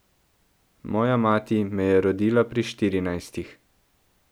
Moja mati me je rodila pri štirinajstih.